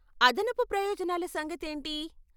అదనపు ప్రయోజనాల సంగతేంటి?